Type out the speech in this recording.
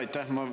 Aitäh!